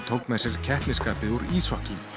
tók með sér keppnisskapið úr íshokkí